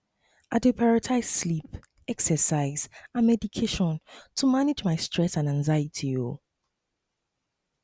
i dey prioritize sleep exercise and meditation to manage my stress and anxiety um